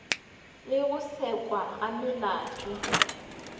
le go sekwa ga melato